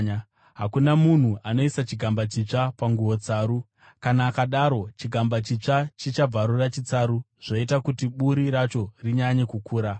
“Hakuna munhu anoisa chigamba chitsva panguo tsaru. Kana akadaro, chigamba chitsva chichabvarura chitsaru, zvoita kuti buri racho rinyanye kukura.